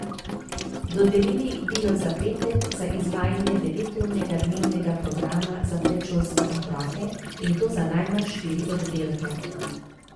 Dodelili bi jo za pet let, za izvajanje deveturnega dnevnega programa za predšolske otroke, in to za najmanj štiri oddelke.